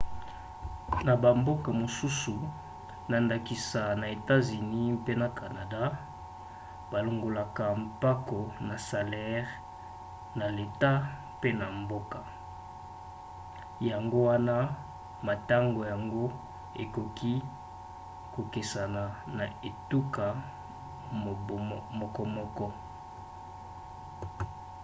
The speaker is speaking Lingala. na bamboka mosusu na ndakisa na etats-unis mpe na canada balongolaka mpako na salere na leta pe na mboka yango wana motango yango ekoki kokesena na etuka mokomoko